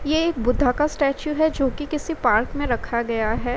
ये एक बुद्धा का स्टेचू है जो कि किसी पार्क में रखा गया है।